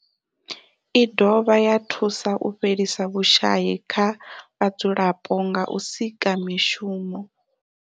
I dovha ya thusa u fhelisa vhushayi kha vhadzulapo nga u sika mishumo.